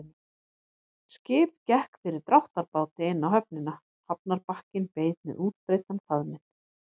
Skip gekk fyrir dráttarbáti inn á höfnina, hafnarbakkinn beið með útbreiddan faðminn.